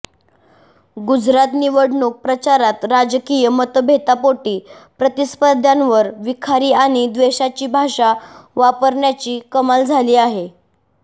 गुजरात निवडणूक प्रचारात राजकीय मतभेदापोटी प्रतिस्पर्ध्यांवर विखारी आणि द्वेषाची भाषा वापरण्याची कमाल झाली आहे